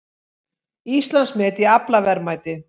Íslandsmet í aflaverðmæti